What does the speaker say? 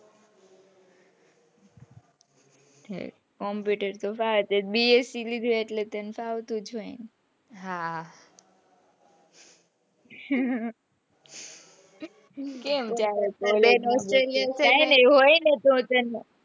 computer તો ફાવે જ ને bsc લીધું હોય એટલે તને ફાવતું જ હોય ને હા કેમ ત્યારે તાર બેન australia છેને,